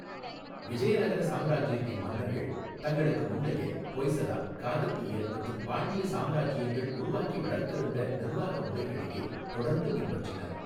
விஜயநகர சாம்ராஜ்யத்தின் மன்னர்கள் தங்களுக்கு முந்தைய ஹோய்ஸலா, காகதீய மற்றும் பாண்டிய சாம்ராஜ்யங்கள் உருவாக்கி வளர்த்திருந்த நிர்வாக முறைகளையே தொடர்ந்து பின்பற்றினர்.